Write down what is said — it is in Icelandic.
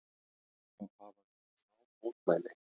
Það hafa verið fá mótmæli